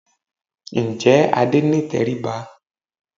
Ǹjẹ́ Adé ní ìtẹríba?